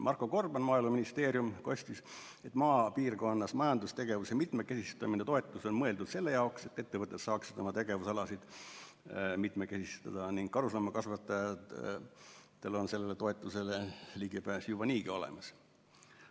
Marko Gorban Maaeluministeeriumist kostis, et maapiirkonnas majandustegevuse mitmekesistamise toetus on mõeldud selleks, et ettevõtted saaksid oma tegevusalasid mitmekesistada, ning karusloomakasvatajatel on sellele toetusele ligipääs juba niigi olemas.